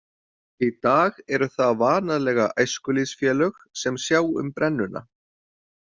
Í dag eru það vanalega æskulýðsfélög sem sjá um brennuna.